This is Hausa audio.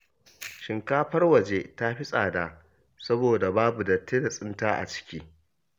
Shinkafar waje ta fi tsada saboda babu datti da tsinta a ciki